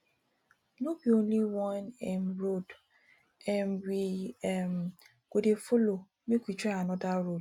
no be only one um road um we um go dey folo make we try anoda road